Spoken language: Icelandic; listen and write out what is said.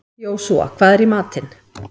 Jósúa, hvað er í matinn?